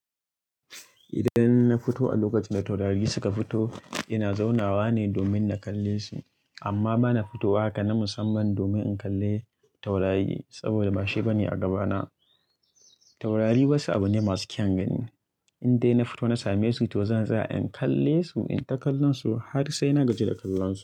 Idan na fito a lokacin da taurari suka fito, ina zaunawa ne domin na kalle su. Amma ba na fitowa haka na musamman domin in kalle taurari saboda ba shi bane a gabana. Taurari wasu abu ne masu kyan gani. In dai na fito na same su, to zan tsaya in kalle su, in ta kallon su har sai na gaji da kallon su.